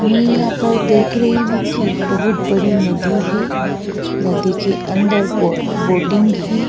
मैं यहां पर देख रही हूं कि बहुत बड़ी नदी है नदी के अंदर बोट बोटिंग है।